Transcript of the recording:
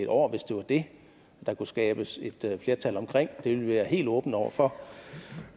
år hvis det er det der kan skabes et flertal omkring det vil vi være helt åbne over for